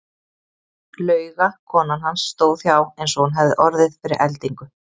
Lauga konan hans stóð hjá eins og hún hefði orðið fyrir eldingu.